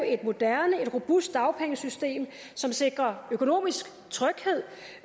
et moderne et robust dagpengesystem som sikrer økonomisk tryghed